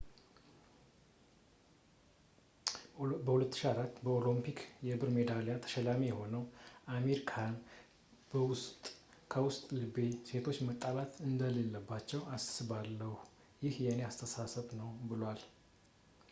የ2004 ኦሎምፒክ የብር ሜዳሊያ ተሸላሚ የሆነው አሚር ካሃን ከውስጥ ልቤ ሴቶች መጣላት እንደሌለባቸው አስባለው ይህ የኔ አስተሳሰብ ነው ብሏል